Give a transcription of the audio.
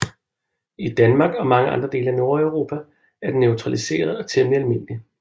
I Danmark og mange andre dele af Nordeuropa er den naturaliseret og temmelig almindelig